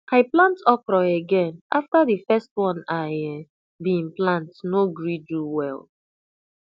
i plant okro again after di first one i um been plant no gree do well